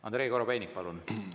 Andrei Korobeinik, palun!